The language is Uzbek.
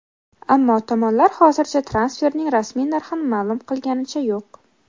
Ammo tomonlar hozircha transferning rasmiy narxini ma’lum qilganicha yo‘q.